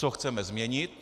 Co chceme změnit?